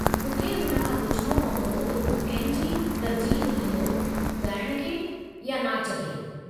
मूंखे हुन खां पुछिणो पंवदो त हू कंहिं खे तर्जीह ॾींदो, ॻाइण खे या नाच खे।